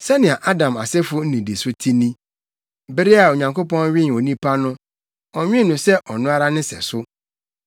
Sɛnea Adam asefo nnidiso te ni. Bere a Onyankopɔn nwen onipa no, ɔnwen no sɛ ɔno ara ne sɛso.